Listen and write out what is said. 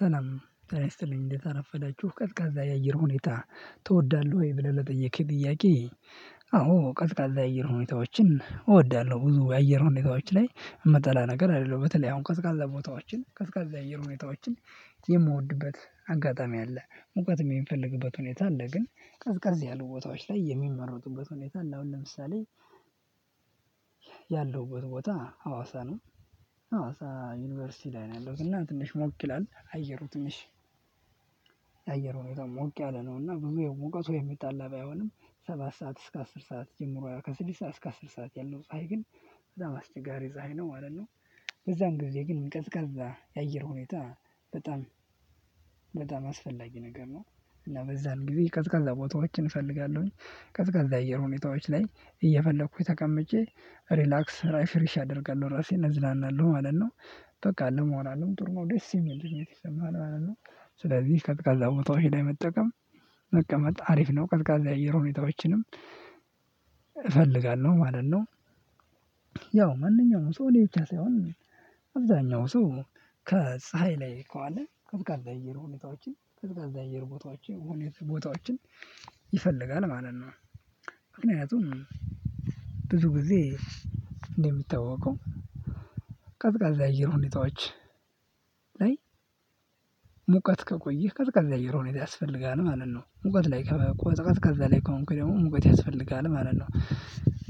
ሰላም ጤና ይስጥልኝ እንዴት አረፈዳችሁ ቀዝቃዛ የአየር ሁኔታ ትወዳለህ ወይ ብለህ ለጠየቅሽኝ ጥያቄ አዎ ቀዘቃዛ የአየር ሁኔታዎችን እወዳለሁ። ብዙ የአየር ሁኔታዎች ላይ የምጠላ ነገር አይደለሁም። በተለይ አሁን ቀዝቃዛ ቦታዎችን ቀዝቃዛ የአየር ሁኔታዎችን የምወድበት አጋጣሚ አለ ሙቀት የሚፈለግበት ሁኔታ አለ ግን ቀዝቃዝ ያሉ ቦታዎች ላይ የሚመረጡበት ሁኔታ አለ አሁን ለምሳሌ ያለሁበት ቦታ ሀዋሳ ነው ሀዋሳ ዩኒቨርሲቲ ላይ ነው ያለው እና ትንሽ ሞቅ ይላል አየሩ ትንሽ የአየር ሁኔታው ሞቅ ያለ ነው እና ብዙ የሙቀቱ የሚጣላ ባይሆንም ሰባት ሰዓት እስከ አስር ሰዓት ጀምሮ ከስድስት ሰዓት እስከ አስር ሰዓት ያለው ፀሀይ ግን በጣም አስቸጋሪ ፀሀይ ነው ማለት ነው። በዛም ጊዜ ግን ቀዝቃዛ የአየር ሁኔታ በጣም በጣም አስፈላጊ ነገር ነው እና በዛን ጊዜ ቀዝቃዛ ቦታዎችን እፈልጋለሁኝ። ቀዝቃዛ አየር ሁኔታዎች ላይ እየፈለኩኝ ተቀመጨ ሪላክስ ራይ ፍሪሽ አደርጋለሁ ራሴን እዝናናለሁ ማለት ነው በቃ ለመሆን አይደለም ጥሩ ደስ የሚል ይሰማል ማለት ነው ስለዚህ ቀዝቃዛ ቦታዎች ላይ መጠቀም መቀመጥ አሪፍ ነው ቀዝቃዛ የአየር የሆነ ሁኔታዎችንም እፈልጋለሁ ማለት ነው። ያው ማንኛውም ሰው እኔ ብቻ ሳይሆን አብዛኛው ሰው ከፀሀይ ላይ ከዋለ ቀዝቃዛ የአየር ሁኔታዎችን ቀዝቃዛ የአየር ቦታዎችን ሁኔታ ቦታዎችን ይፈልጋል ማለት ነው ምክንያቱም ብዙ ጊዜ እንደሚታወቀው ቀዝቃዛ አየር ሁኔታዎች ሙቀት ከቆየህ ቀዝቃዛ የአየር ሁኔታ ያስፈልጋል ማለት ነው ሙቀት ላይ ቀዝቃዛ ላይ ከሆንክ ደግሞ ሙቀት ያስፈልጋል ማለት ነው